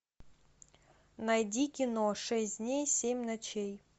найди кино шесть дней семь ночей